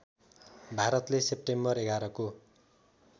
भारतले सेप्टेम्बर ११ को